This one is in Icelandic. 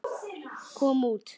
kom út.